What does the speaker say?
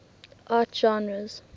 art genres